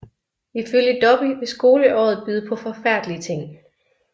Ifølge Dobby vil skoleåret byde på forfærdelige ting